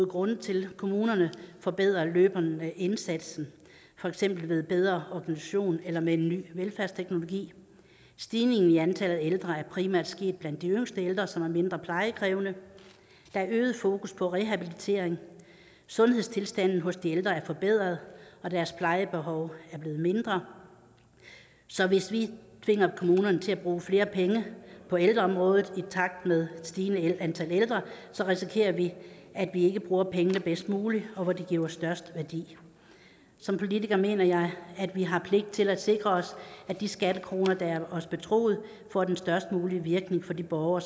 grunde til kommunerne forbedrer løbende indsatsen for eksempel ved bedre organisation eller med ny velfærdsteknologi stigningen i antallet af ældre er primært sket blandt de yngste ældre som er mindre plejekrævende der er øget fokus på rehabilitering sundhedstilstanden hos de ældre er forbedret og deres plejebehov er blevet mindre så hvis vi tvinger kommunerne til at bruge flere penge på ældreområdet i takt med et stigende antal ældre risikerer vi at vi ikke bruger pengene bedst muligt og hvor de giver størst værdi som politiker mener jeg at vi har pligt til at sikre os at de skattekroner der er os betroet får den størst mulige virkning for de borgere